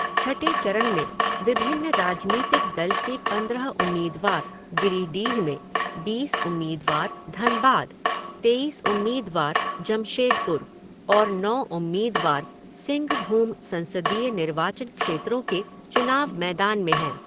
छठे चरण में विभिन्न राजनीतिक दल के पंद्रह उम्मीदवार गिरिडीह में, बीस उम्मीदवार धनबाद, तेईस उम्मीदवार जमशेदपुर और नौ उम्मीदवार सिंघभूम संसदीय निर्वाचन क्षेत्रों के चुनाव मैदान में हैं।